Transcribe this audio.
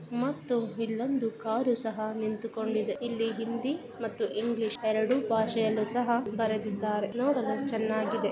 ಮತ್ತು ಇಲ್ಲೊಂದು ಕಾರು ಸಹಾ ನಿಂತುಕೊಂಡಿದೆ ಇಲ್ಲಿ ಹಿಂದಿ ಮತ್ತು ಇಂಗ್ಲೀಷ ಎರಡು ಭಾಷೆಯಲ್ಲೂ ಸಹ ಬರೆದಿದ್ದಾರೆ ನೋಡಲು ಚೆನ್ನಾಗಿದೆ.